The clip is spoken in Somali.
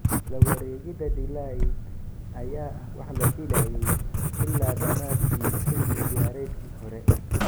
La wareegida De Ligt ayaa ah wax la filayay ilaa dhamaadkii xilli ciyaareedkii hore.